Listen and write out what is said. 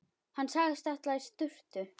Hann sagðist ætla í sturtu.